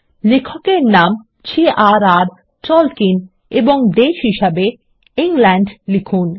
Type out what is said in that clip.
লেখকের নাম J R R Tolkien এবং দেশ হিসাবে ইংল্যান্ড লিখুন